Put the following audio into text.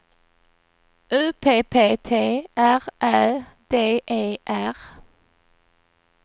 U P P T R Ä D E R